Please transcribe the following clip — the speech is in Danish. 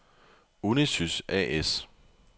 Unisys A/S